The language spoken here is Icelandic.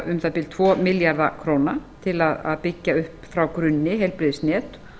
um það bil tvo milljarða króna til að byggja upp frá grunni heilbrigðisnet